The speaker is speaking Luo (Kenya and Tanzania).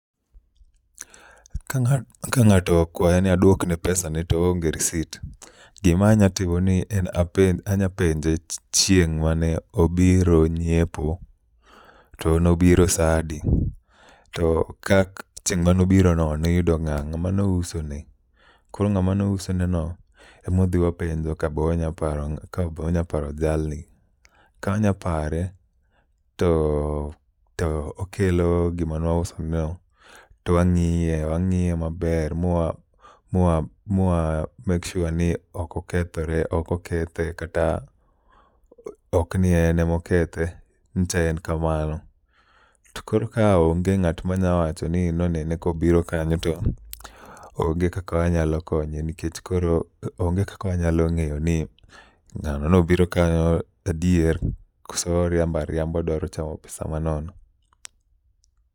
Ka ng'a, ka ng'ato okwaya ni adwokne pesa ne to oonge risit, gima anya timo ni anya penje chieng' mane obiro nyiepo. To nobiro sa adi, to kak chieng' manobiro no noyudo ng'a, ng'ama nouso ne? Koro ng'ama nouso ne no emwadhi wapenjo ka bo onyaparo ng' ka bo nyaparo jalni. Ka onyapare to to okelo gima nwausoneno to wang'ie, wang'iye maber. Mwa mwa mwa make sure ni oko kethore ok okethe, kata ok ni en emokethe, nyicha en kamano. To koro ka onge ng'at manya wacho ni nonene kobiro kanyo to onge kaka wanyalo konye. Nikech koro onge kaka wanyalo ng'eyo ni ng'ano nobiro kanyo adier koso orimba riamba odwaro chamo pesa ma nono.